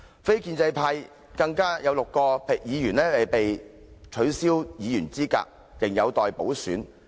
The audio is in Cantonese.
非建制派更有6位議員被取消議員資格，仍有待補選。